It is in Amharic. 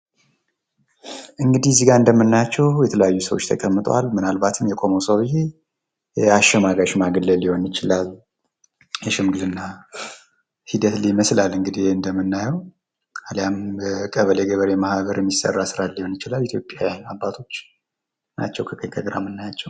እንግዲህ እዚ ላይ እንደምናያቸው የተለያዩ ሰዎች ተቀምጠዋል ምናልባትም የቆመው ሰውዬ የአሸማጋዮች ሽማግሌ ሊሆን ይችላል። የሽምግልና ሂደት ይመስላል እንግዲህ እንደምናየው አልያም በቀበሌ ገበሬ ማህበር የሚሰራ ስራ ሊሆን ይችላል። የኢትዮጵያ አባቶች ናቸው ከቀኝ ከግራ የምናያቸው።